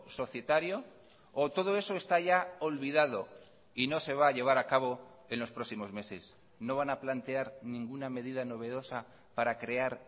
societario o todo eso está ya olvidado y no se va a llevar acabo en los próximos meses no van a plantear ninguna medida novedosa para crear